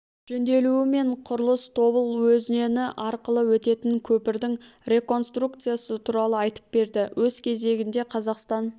жөнделуі мен құрылысы тобыл өзені арқылы өтетін көпірдің реконструкциясы туралы айтып берді өз кезегінде қазақстан